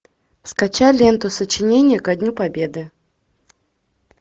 скачай ленту сочинение ко дню победы